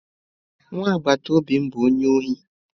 Nwa agbataobi m bu onye ohi?